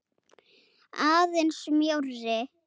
Aðeins mjórri.